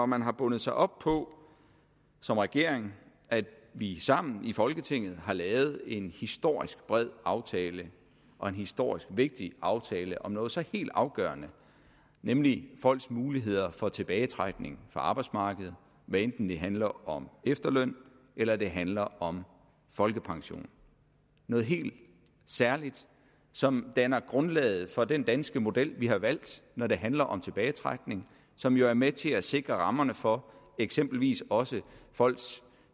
man har bundet sig op på som regering at vi sammen i folketinget har lavet en historisk bred aftale og en historisk vigtig aftale om noget så helt afgørende nemlig folks muligheder for tilbagetrækning fra arbejdsmarkedet hvad enten det handler om efterløn eller det handler om folkepension noget helt særligt som danner grundlaget for den danske model vi har valgt når det handler om tilbagetrækning som jo er med til at sikre rammerne for eksempelvis også folks